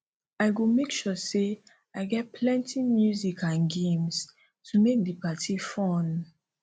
i go make sure say i get plenty music and games to make di party fun